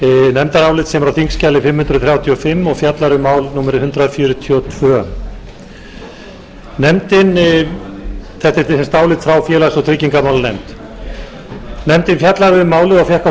nefndarálit sem er á þingskjali fimm hundruð þrjátíu og fimm og fjallar um mál númer hundrað fjörutíu og tvö þetta er álit frá félags og tryggingamálanefnd nefndin fjallaði um málið og fékk á sinn fund fulltrúa